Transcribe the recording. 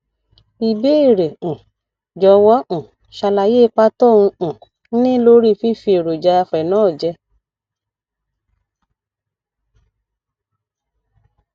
ibeere um jọwọ um ṣàlàyé ipa tó um ń ní lórí fífi èròjà phenol jẹ